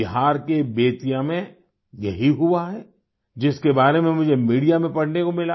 बिहार के बेतिया में यही हुआ है जिसके बारे में मुझे मीडिया में पढ़ने को मिला